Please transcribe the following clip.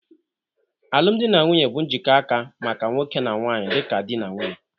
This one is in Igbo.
Alụm dị na nwunye bu njikota aka nwoke na nwanyị dịka dị na nwunye.